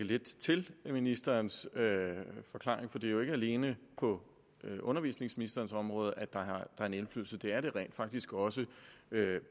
lidt til ministerens forklaring for det er jo ikke alene på undervisningsministerens område at der er en indflydelse det er der rent faktisk også